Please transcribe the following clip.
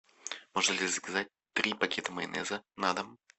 можно ли заказать три пакета майонеза на дом